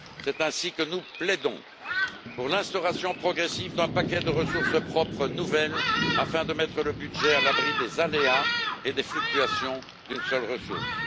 C'est ainsi que nous plaidons pour l'instauration progressive d'un paquet de ressources propres nouvelles afin de mettre le budget à l'abri des aléas et des fluctuations d'une seule ressource.